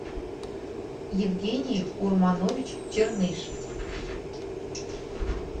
евгений урманович черныш